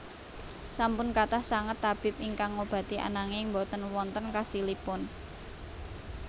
Sampun kathah sanget tabib ingkang ngobati ananging boten wonten khasilipun